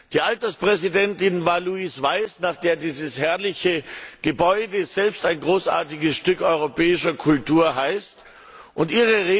Die Alterspräsidentin war Louise Weiss, nach der dieses herrliche Gebäude, selbst ein großartiges Stück europäischer Kultur, benannt ist.